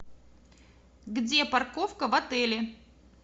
где парковка в отеле